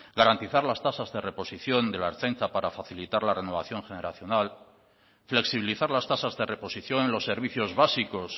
garantizar las tasas de reposición de la ertzaintza para facilitar la renovación generacional flexibilizar las tasas de reposición en los servicios básicos